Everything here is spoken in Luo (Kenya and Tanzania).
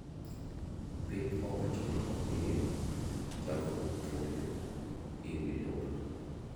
Piny owacho ne omiyo jagono thuolo ewi lobno.